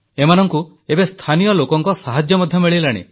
ଏମାନଙ୍କୁ ଏବେ ସ୍ଥାନୀୟ ଲୋକଙ୍କ ସାହାଯ୍ୟ ମଧ୍ୟ ମିଳିଲାଣି